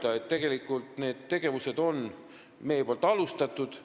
Me oleme tegelikult neid tegevusi alustanud.